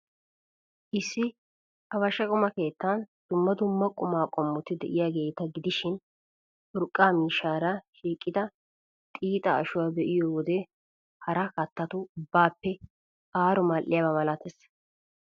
Issi abasha quma keettan dumma dumma quma qommoti de'iyaageeta gidishin, urqqa miishshaara shiiqida xiixa ashuwaa be'iyo wode hara kattatu ubbaappe aaro mal''iyaba malatees.